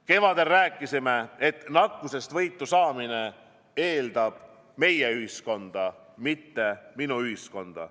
Kevadel rääkisime, et nakkusest võitu saamine eeldab meie-ühiskonda, mitte minu-ühiskonda.